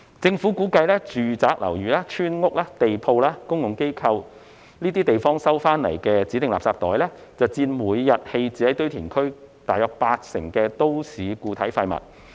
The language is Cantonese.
政府估計住宅樓宇、村屋、地鋪和公共機構收集到的指定垃圾袋，會佔每日棄置於堆填區的都市固體廢物大約八成。